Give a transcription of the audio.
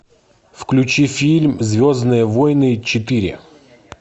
включи фильм звездные войны четыре